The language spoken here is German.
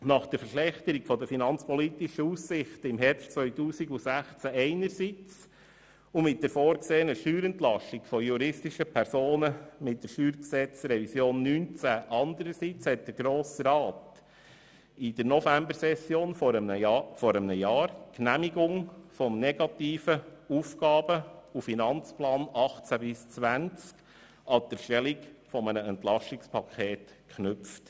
Nach der Verschlechterung der finanzpolitischen Aussichten im Jahr 2016 einerseits und mit der vorgesehenen Steuerentlastung bei den juristischen Personen im Rahmen der StG-Revision 2019 andererseits hat der Grosse Rat in der Novembersession vor einem Jahr die Genehmigung des negativen AFP 2018–2020 mit der Erstellung eines EP verknüpft.